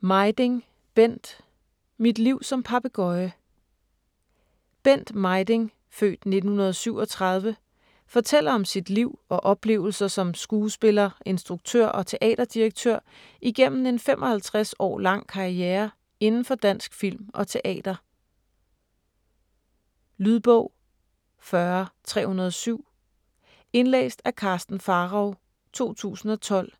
Mejding, Bent: Mit liv som papegøje Bent Mejding (f. 1937) fortæller om sit liv og oplevelser som skuespiller, instruktør og teaterdirektør igennem en 55 år lang karriere indenfor dansk film og teater. Lydbog 40307 Indlæst af Karsten Pharao, 2012.